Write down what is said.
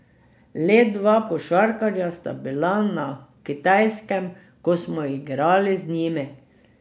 Le dva košarkarja sta bila na Kitajskem, ko smo igrali z njimi.